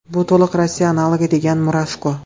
Bu to‘liq Rossiya analogi”, degan Murashko.